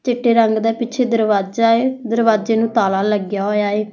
ਚਿੱਟੇ ਰੰਗ ਦਾ ਪਿੱਛੇ ਦਰਵਾਜਾ ਆ ਦਰਵਾਜੇ ਨੂੰ ਤਾਲਾ ਲੱਗਿਆ ਹੋਇਆ ਹੈ।